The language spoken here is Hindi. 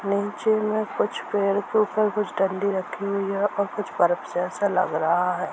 नीचे में कुछ पेड़ के ऊपर कुछ डंडी रखी हुई है और कुछ बर्फ जैसा लग रहा है।